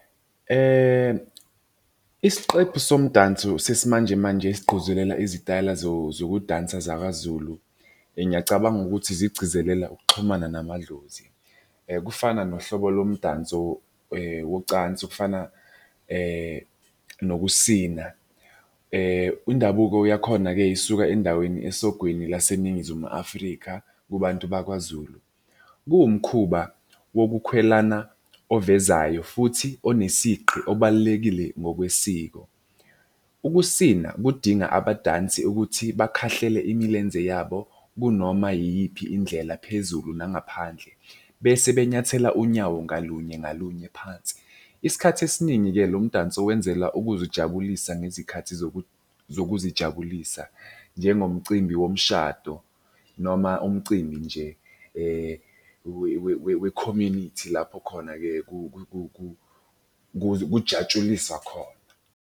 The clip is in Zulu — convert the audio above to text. Isiqephu somdanso sesimanjemanje esigquzulela izitayela zokudansa zakwaZulu. Ngiyacabanga ukuthi zigcizelela ukuxhumana namadlozi. Kufana nohlobo lomdanso wocansi okufana nokusina. Indabuko yakhona-ke isuka endaweni esogwini laseNingizimu Afrika kubantu bakwaZulu. Kuwumkhuba wokukhwelana ovezayo futhi onesigqi obalulekile ngokwesiko. Ukusina kudinga abadansi ukuthi bakhahlele imilenze yabo kunoma yiyiphi indlela phezulu nangaphandle, bese benyathela unyawo ngalunye ngalunye phansi. Isikhathi esiningi-ke lo mdanso wenzela ukuzijabulisa ngezikhathi zokuzijabulisa. Njengomcimbi womshado, noma umcimbi nje we-community lapho khona-ke kujatshuliswa khona.